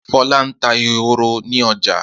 Fọlá ń ta ehoro ní ọjà.